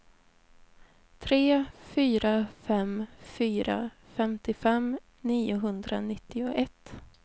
tre fyra fem fyra femtiofem niohundranittioett